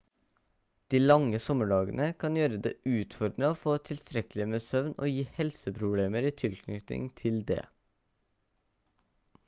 de lange sommerdagene kan gjøre det utfordrende å få tilstrekkelig med søvn og gi helseproblemer i tilknytning til det